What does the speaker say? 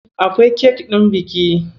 Akwai kek ɗin biki.